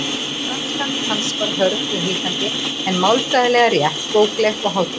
Franskan hans var hörð og hikandi en málfræðilega rétt, bókleg og hátíðleg.